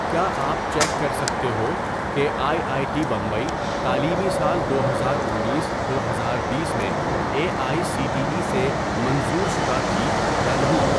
کیا آپ چیک کر سکتے ہو کہ آئی آئی ٹی بمبئی تعلیمی سال دو ہزار انیس دو ہزار بیس میں A I C T E سے منظور شدہ تھی یا نہیں؟